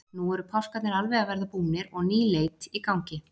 Nú eru páskarnir alveg að verða búnir og ný leit í gangi.